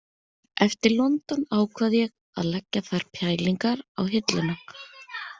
Eftir London ákvað ég að leggja þær pælingar á hilluna